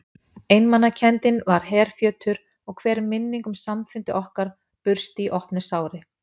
Einmanakenndin var herfjötur og hver minning um samfundi okkar bursti í opnu sári.